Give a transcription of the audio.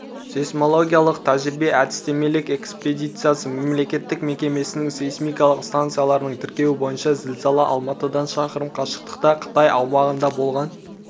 сейсмологиялық тәжірибе-әдістемелік экспедициясы мемлекеттік мекемесінің сейсмикалық стансаларының тіркеуі бойынша зілзала алматыдан шақырым қашықтықта қытай аумағында болған